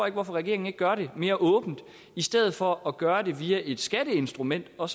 ikke hvorfor regeringen ikke gør det mere åbent i stedet for at gøre det via et skatteinstrument og